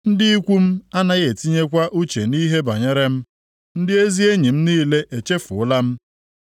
Ndị ikwu m anaghị etinyekwa uche nʼihe banyere m; ndị ezi enyi m niile echefuola m.